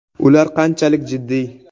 Ular qanchalik jiddiy?.